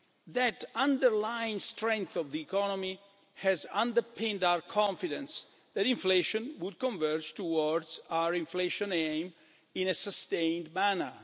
That underlying strength of the economy has underpinned our confidence that inflation would converge towards our inflation aim in a sustained manner.